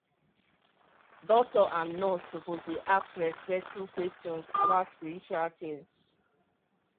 some families go wan pray or do ritual before any medical thing start.